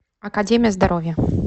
академия здоровья